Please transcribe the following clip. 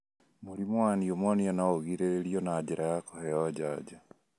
Mũrimũ wa pneumonia no ũgirĩrĩrio na njĩra ya kũheo njanjo.